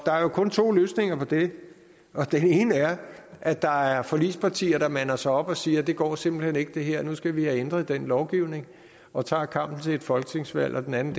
er jo kun to løsninger på det den ene er at der er forligspartier der mander sig op og siger det går simpelt hen ikke det her nu skal vi have ændret den lovgivning og tager kampen til et folketingsvalg og den anden